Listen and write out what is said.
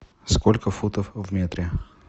сколько футов в метре